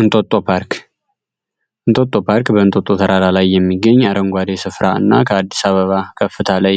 እንቶቶ ፓርክ እንቶቶ ፓርክ በእንቶቶ ተራራ ላይ የሚገኝ የአረንጓዴ ስፍራ እና ከአዲስ አበባ ከፍታ ላይ